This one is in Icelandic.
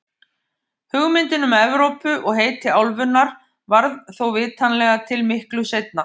Hugmyndin um Evrópu og heiti álfunnar varð þó vitanlega til miklu seinna.